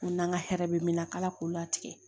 Ko n'an ka hɛrɛ bɛ min na k'ala k'u latigɛ